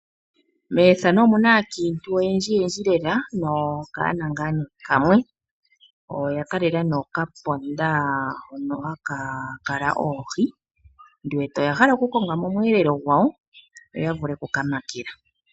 Methano omuna aakiintu oyendjiyendji lela nokaana ngaa nee kamwe, oya kalela nee okaponda hono haka kala oohi ndi wete oya hala oku konga mo omweelelo gwawo yo ya vule okuka makela.